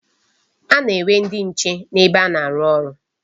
A na-enwe ndị nche n'ebe a na-aru oru..